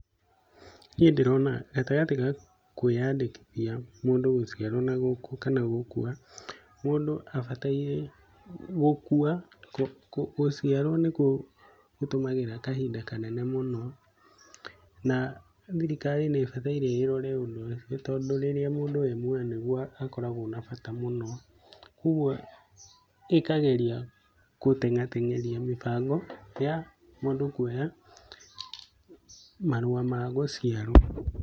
Niĩ ndĩrona gatagati ga kwĩyandĩkithia mundu gũciarwo kana gũkua, mũndũ abataire gũkua, gũciarwo nĩkuo gũtũmagĩra kahinda kanene mũno, na thirikari nĩ ibataire ĩrore ũndũ ũciũ tondũ rĩrĩa mũndũ e muoyo nĩguo akoragwo na bata mũno. Koguo ĩkageria gũteng'ateng'eria mĩbango ya mũndũ kuoya marũa ma gũciarwo.